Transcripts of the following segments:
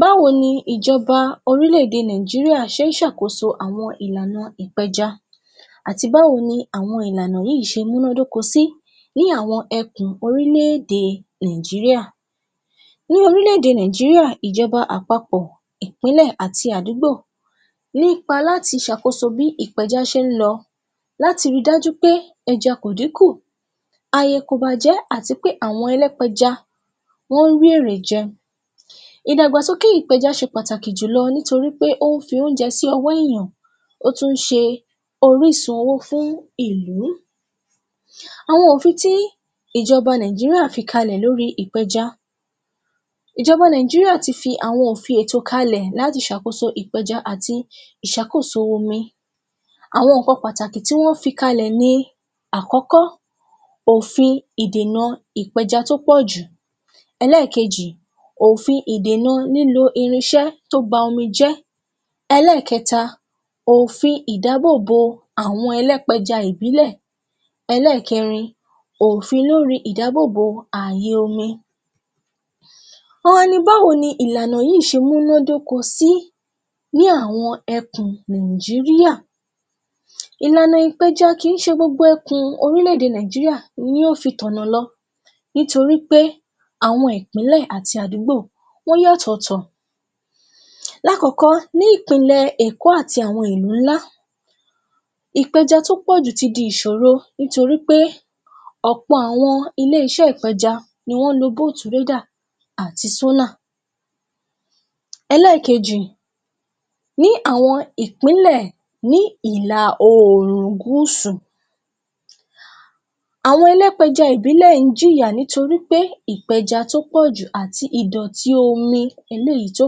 Báwo ní ìjọba orílé-èdè Nàìjíríà ṣe ń ṣe àwọn àkóso ìlànà ìpẹja àti báwo ni àwọn ìlànà yìí ṣe múnádóko sí bí àwọn ẹ̀kùn orílé-èdè Nàìjíríà. Ní orílé-èdè Nàìjíríà, ìjọba àpapọ̀, ìpínlẹ̀ àti àdúgbò ní ipa láti ṣe àkóso bí ìpẹja ṣe ń lọ, láti rí dájú pé ẹja kò dínkù, ààyè kò bàjẹ́ àti pé àwọn Ẹlẹ́pẹja wọn ń rí èrè jẹ. Ìdàgbàsókè ìpẹja ṣe pàtàkì jù lọ nítorí pé ó fi oúnjẹ sí ọwọ́ èèyàn, ó tún ṣe orísun owó fún ìlú. Àwọn òfin tí ìjọba Nàìjíríà fi kalẹ̀ lóri ìpẹja. Ìjọba Nàìjíríà ti fi àwọn òfin ètò kalẹ̀ láti ṣe àkóso ìpẹja àti ìṣàkóso omi. Àwọn nǹkan pàtàkì tí wọn fi kalẹ̀ ni: Àkọ́kọ́. Òfin ìdènà ìpẹja tó pọ̀ jù. Ẹlẹ́ẹ̀kejì. Òfin ìdènà lílo irinṣẹ́ to ba ọmi jẹ́. Ẹlẹ́ẹ̀kẹta. Òfin ìdáàbò bò àwọn Ẹlẹ́pẹja ìbílẹ̀. Ẹlẹ́ẹ̀kẹrin. Òfin lórí ìdáàbò bò àyè omi. Wọ́n wá ní báwo ni ìlànà yìí ṣe múnádókó sí ní àwọn ẹ̀kùn Nàìjíríà. Ìlànà ìpẹja kì í ṣe gbogbo ẹ̀kùn orílé-èdè Nàìjíríà ni yóò fi tọ̀nà lọ nítorí pé, àwọn ìpínlẹ̀ àti àdúgbò wọn yàtọ̀ọ̀tọ̀. Lákọ̀ọ́kọ́. Ní ìpínlẹ̀ Èkó àti àwọn ìlú ńlá, ìpẹja tó pọ̀ jù ti di ìṣòro nítorí pé ọ̀pọ̀ àwọn ilé-iṣẹ́ ìpẹja ni wọ́n lò àti. Ẹlẹ́ẹ̀kejì. Ní àwọn ìpínlẹ̀ Ìlà-Oòrùn Gúúsù, àwọn Ẹlẹ́pẹja ìbílẹ̀ jìyà nítorí pé ìpẹja tó pọ̀ jù àti ìdọ̀tí omi eléyìí tó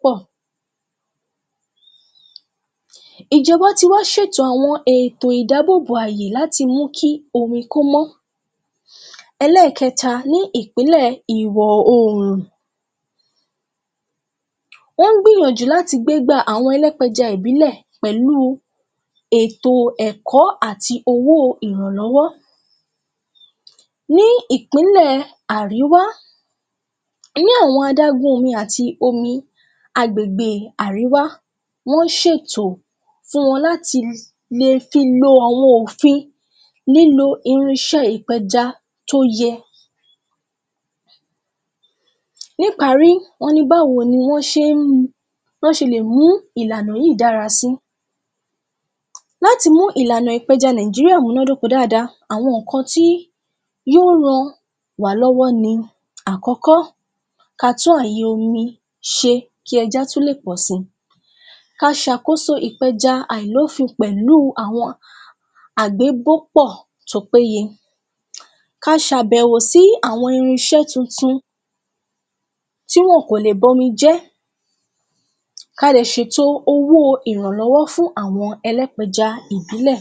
pọ̀. Ìjọba ti wá ṣètò àwọn ètò ìdáàbò bò àyè láti mú kí omi kómó. Ẹlẹ́ẹ̀kẹta. Ní ìpínlẹ̀ Ìwò-Oòrùn, wọ́n ń gbìyànjú láti gbé igbá àwọn Ẹlẹ́pẹja ìbílẹ̀ pẹ̀lú ètò ẹ̀kọ́ àti owó ìrànlọ́wọ́. Ní ìpínlẹ̀ Àríwá, ní àwọn adágún ọmi àti omi agbègbè Àríwá, wọ́n ṣètò fún wọn láti lè fi lò àwọn òfin lílo irinṣẹ́ ìpẹja tó yẹ ẹ́. Níparí, wọ́n ní báwo ní wọn ṣe lè mú ìlànà yìí dára sí. Láti mú ìlànà ìpẹja Nàìjíríà múnádóko dáadáa àwọn nǹkan tí yóò ràn wá lọ́wọ́ ni: Àkọ́kọ́. Kí a tún àwọn àyè omi ṣe kí ẹja tún lè pọ̀ sí. Kí a ṣàkóso ìpẹja àìlófin pẹ̀lú àwọn àgbégópọ̀ tó péye. Kí a ṣe àbẹ̀wò sí àwọn irinṣẹ́ tuntun tí wọn kò lè ba omi jẹ́. Kí a jẹ́ ṣètò owó ìrànlọ́wọ́ fún àwọn Ẹlẹ́pẹja ìbílẹ̀.